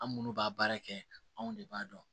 An minnu b'a baara kɛ anw de b'a dɔn